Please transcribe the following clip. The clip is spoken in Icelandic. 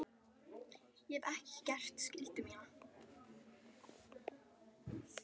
Ég hef ekki gert skyldu mína.